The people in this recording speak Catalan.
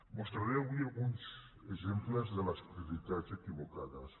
mostraré avui alguns exemples de les prioritats equivocades